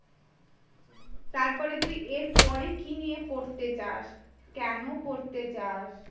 তারপরে তুই এর পরে কি নিয়ে পড়তে চাস। কেন পড়তে চাস?